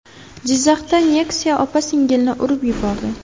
Jizzaxda Nexia opa-singilni urib yubordi.